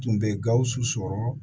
Tun bɛ gawusu sɔrɔ